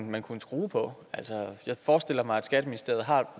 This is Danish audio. man kunne skrue på jeg forestiller mig at skatteministeriet har